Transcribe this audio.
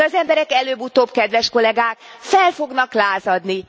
De az emberek előbb utóbb, kedves kollegák, fel fognak lázadni.